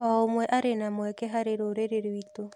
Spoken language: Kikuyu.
O ũmwe arĩ na mweke harĩ rũrĩrĩ rwitũ.